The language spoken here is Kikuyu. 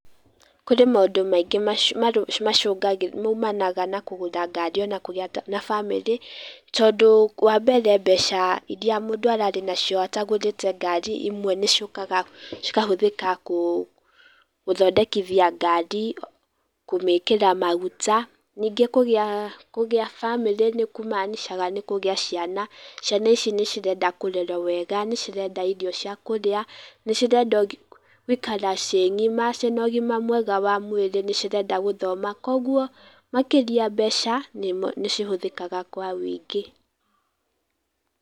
Kũrĩ maũndũ maingĩ macũngagĩrĩrio, maumanaga na kũgũra ngari ona kũrĩ arata, na bamĩrĩ, tondũ wa mbere mbeca iria mũndũ ararĩ nacio atagũrĩte ngari, imwe nĩciũkaga cikahũthĩka, gũthondekithia ngari, kũmĩkĩra maguta, ningĩ kũgĩa bamĩrĩ nĩ kũmanicaga nĩ kũgĩa ciana, ciana ici nĩ cirenda kũrerwo wega, nĩ cirenda irio cia kũrĩa, nĩ cirenda gũikara ciĩ ng'ima ciĩna ũgima mwega wa mwĩrĩ, nĩ cirenda gũthoma, koguo makĩria mbeca nĩ cihũthĩkaga kwa ũingĩ.